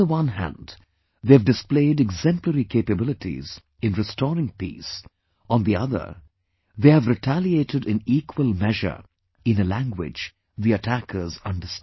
On the one hand, they have displayed exemplary capabilities in restoring peace; on the other, they have retaliated in equal measure, in a language the attackers understand